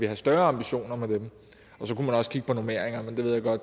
have større ambitioner med dem og så kunne man også kigge på normeringerne men der ved jeg godt at